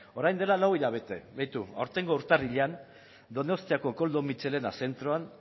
orain dela lau hilabete begiratu aurtengo urtarrilean donostiako koldo mitxelena zentroan